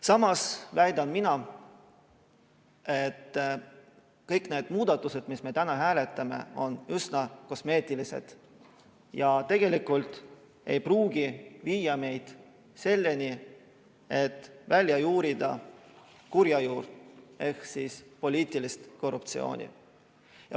Samas väidan mina, et kõik need muudatused, mida me täna hääletame, on üsna kosmeetilised ja tegelikult ei pruugi viia meid selleni, et välja juurida kurja juur ehk poliitiline korruptsioon.